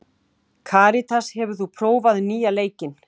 Karitas, hefur þú prófað nýja leikinn?